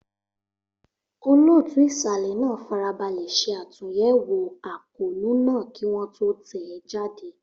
Olóòtú ìsàlẹ̀ náà farabalẹ̀ ṣe àtúnyẹ̀wò àkóónú náà kí wọ́n tó tẹ̀ ẹ́ jáde.